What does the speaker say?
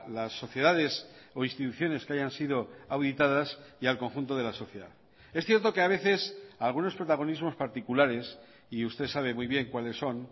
las sociedades o instituciones que hayan sido auditadas y al conjunto de la sociedad es cierto que a veces algunos protagonismos particulares y usted sabe muy bien cuáles son